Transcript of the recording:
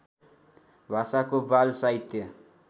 भाषाको बाल साहित्य